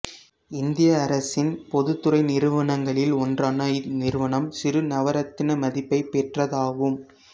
இந்திய அரசின் பொதுத்துறை நிறுவனங்களில் ஒன்றான இந்நிறுவனம் சிறு நவரத்தின மதிப்பைப் பெற்றதாகும்